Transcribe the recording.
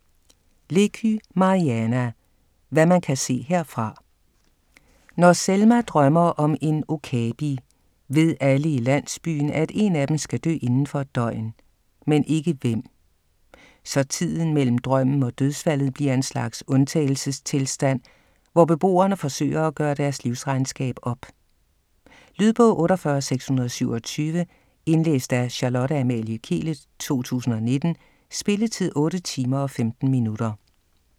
Leky, Mariana: Hvad man kan se herfra Når Selma drømmer om en okapi, ved alle i landsbyen, at én af dem skal dø inden for et døgn, men ikke hvem. Så tiden mellem drømmen og dødsfaldet bliver en slags undtagelsestilstand, hvor beboerne forsøger at gøre deres livsregnskab op. Lydbog 48627 Indlæst af Charlotte Amalie Kehlet, 2019. Spilletid: 8 timer, 15 minutter.